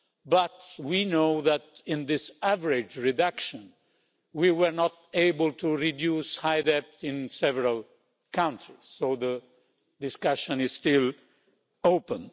But we know that, in this average reduction, we were not able to reduce high debt in several countries, so the discussion is still open.